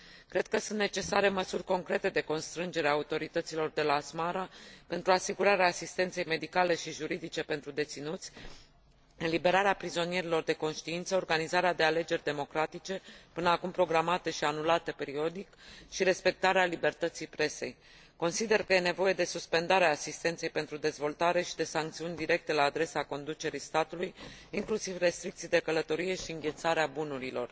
Cred că sunt necesare măsuri concrete de constrângere a autorităților de la Asmara pentru asigurarea asistenței medicale și juridice pentru deținuți, eliberarea prizonierilor de conștiință, organizarea de alegeri democratice, până acum programate și anulate periodic, și respectarea libertății presei. Consider că e nevoie de suspendarea asistenței pentru dezvoltare și de sancțiuni directe la adresa conducerii statului, inclusiv restricții de călătorie și înghețarea bunurilor.